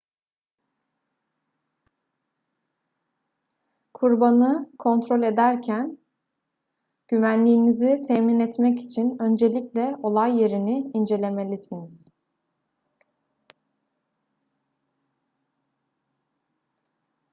kurbanı kontrol ederken güvenliğinizi temin etmek için öncelikle olay yerini incelemelisiniz